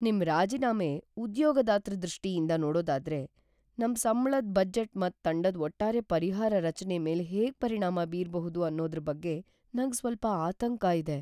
ನಿಮ್ ರಾಜೀನಾಮೆ ಉದ್ಯೋಗದಾತ್ರ ದೃಷ್ಟಿಯಿಂದ್ ನೋಡೋದಾದ್ರೆ, ನಮ್ ಸಂಬ್ಳದ್ ಬಜೆಟ್ ಮತ್ ತಂಡದ್ ಒಟ್ಟಾರೆ ಪರಿಹಾರ ರಚನೆ ಮೇಲ್ ಹೇಗ್ ಪರಿಣಾಮ ಬೀರ್ಬಹುದು ಅನ್ನೋದ್ರ ಬಗ್ಗೆ ನಂಗ್ ಸ್ವಲ್ಪ ಆತಂಕ ಇದೆ.